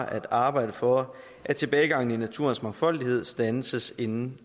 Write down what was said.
at arbejde for at tilbagegangen i naturens mangfoldighed standses inden